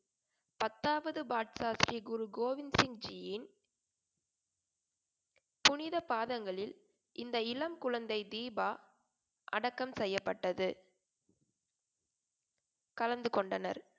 பத்தாவது பாட்சா ஸ்ரீகுரு கோவிந்த் சிங்ஜியின் புனித பாதங்களில் இந்த இளம் குழந்தை தீபா அடக்கம் செய்யப்பட்டது. கலந்து கொண்டனர்